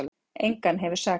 Engan hefur sakað